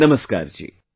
Namaskar ji